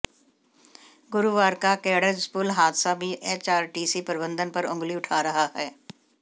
गुरुवार का केड़ज पुल हादसा भी एचआरटीसी प्रबंधन पर अंगुली उठा रहा है